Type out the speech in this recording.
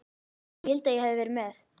Ég vildi að ég hefði verið með